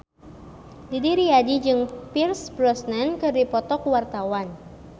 Didi Riyadi jeung Pierce Brosnan keur dipoto ku wartawan